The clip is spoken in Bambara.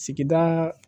Sigidaa